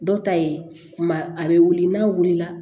Dɔ ta ye kuma a bɛ wuli n'a wulila